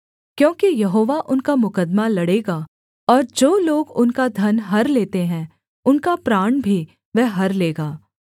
क्योंकि यहोवा उनका मुकद्दमा लड़ेगा और जो लोग उनका धन हर लेते हैं उनका प्राण भी वह हर लेगा